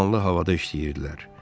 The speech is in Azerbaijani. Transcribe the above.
Dumanlı havada işləyirdilər.